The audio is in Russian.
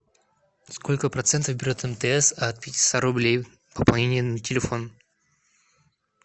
сколько процентов берет мтс от пятиста рублей пополнения на телефон